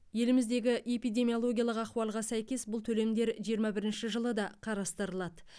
еліміздегі эпидимиологиялық ахуалға сәйкес бұл төлемдер жиырма бірінші жылы да қарастырылады